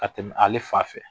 Ka tɛmɛ ale fa fɛ